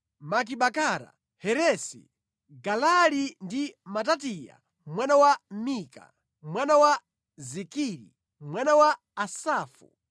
Bakibakara, Heresi, Galali ndi Mataniya mwana wa Mika, mwana wa Zikiri, mwana wa Asafu;